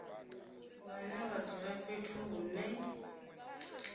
vhane vha dzula fhethu hune